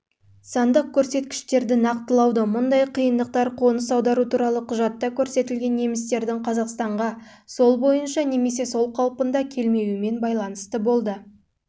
сандық көрсеткіштерді нақтылауда мұндай қиындықтар қоныс аудару туралы құжатта көрсетілген немістердің қазақстанға сол бойынша немесе сол қалпында келмеуімен